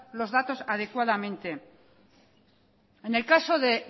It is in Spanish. los datos adecuadamente en el caso de